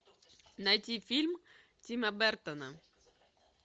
найти фильм тима бертона